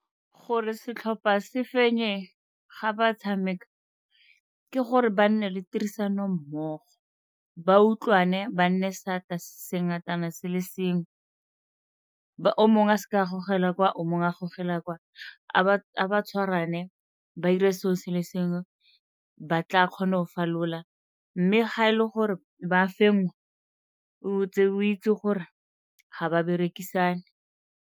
Gore setlhopha se fenye ga ba tshameka ke gore ba nne le tirisanommogo, ba utlwane ba nne seatla se se ngatana se le sengwe. O mongwe a seka a gogela kwa o mongwe a gogela kwa, a ba tshwaragane ba 'ire se'o se le sengwe ba tla kgona go falola, mme ha e le gore ba fengwa o ntse o itse gore ga ba berekisane.